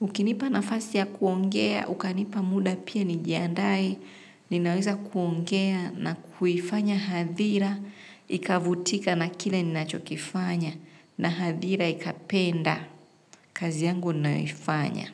Ukinipa nafasi ya kuongea, ukanipa muda pia ni jiandae. Ninaweza kuongea na kuifanya hadhira. Ikavutika na kile ninacho kifanya na hadhira ikapenda. Kazi yangu nayoifanya.